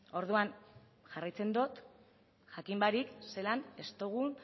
orduan jarraitzen dut jakin barik zelan ez dugun